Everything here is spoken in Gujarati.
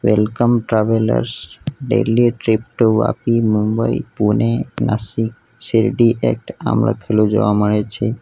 Welcome travellers daily trip to Vapi Mumbai Pune Nashik Shirdi એક્ટ આમ લખેલુ જોવા મળે છે.